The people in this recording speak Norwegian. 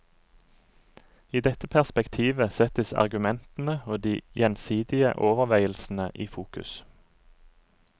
I dette perspektivet settes argumentene og de gjensidige overveielsene i fokus.